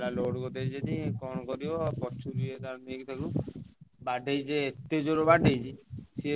ଆଉ load କରିଦେଇଛନ୍ତି କଣ କରିବ ପଛକୁ ନେଇ ତାକୁ ବାଡେଇଛି ଯେ ଏତେ ଜୋରେ ବାଡ଼େଇଛି।